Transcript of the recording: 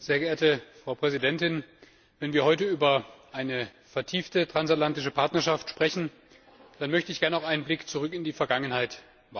Frau Präsidentin! Wenn wir heute über eine vertiefte transatlantische Partnerschaft sprechen, dann möchte ich auch einen Blick zurück in die Vergangenheit wagen.